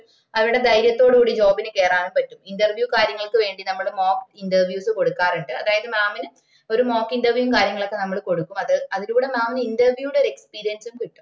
അവട ധൈര്യതോട് കൂടി job ന് കേറാനും പറ്റും interview കാര്യങ്ങള്ക്ക് വേണ്ടി നമ്മട mock interviews കൊടുക്കാറുണ്ട് അതായത്ന് mam ന് ഒര് mock interview കാര്യങ്ങളൊക്കെ നമ്മള് കൊടുക്കും അത് അതിലൂടെ interview ന്റെ ഒര് experience ഉം കിട്ടും